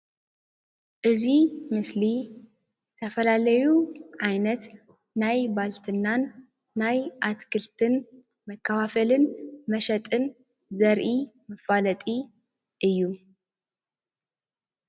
እዚ ምስሊ ዝተፈላለዩ ዓይነት ናይ ባልትናን ናይ ኣትክልትን መከፋፈልን መሸጥን ዘርኢ መፋለጢ እዩ ።